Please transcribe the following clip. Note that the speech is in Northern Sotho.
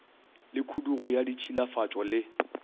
le khudugo ya ditšhilafatšo le